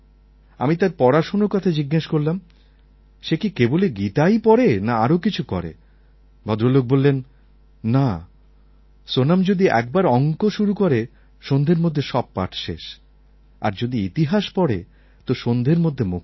আমি তার পড়াশোনার কথা জিজ্ঞেস করলাম সে কি কেবল গীতাই পড়ে না আরও কিছু করে ভদ্রলোক বললেন না সোনম্ যদি একবার অঙ্ক শুরু করে সন্ধের মধ্যে সব পাঠ শেষ আর যদি ইতিহাস পড়ে তো সন্ধের মধ্যে মুখস্থ